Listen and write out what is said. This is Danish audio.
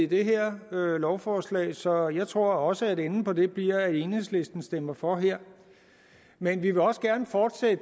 det her lovforslag så jeg tror også at enden på det bliver at enhedslisten stemmer for her men vi vil også gerne fortsætte